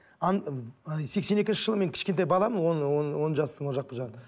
ы сексен екінші жылы мен кішкентай баламын он он он жастың ол жақ бұл жағында